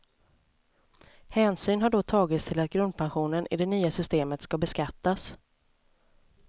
Hänsyn har då tagits till att grundpensionen i det nya systemet ska beskattas.